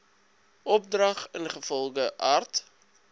opdrag ingevolge art